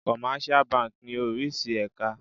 Commercial banki ní oríṣi èka.